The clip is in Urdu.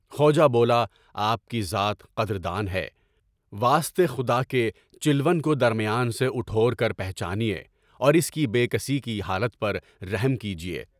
خواجہ بولا، آپ کی ذات قدر دان ہے، واسطے خدا کے، چلون کو درمیان سے اٹھور کر پہچانیے اور اس کی بے کسی کی حالت پر رحم کیجیے۔